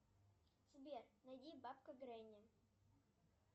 сбер найди бабка гренни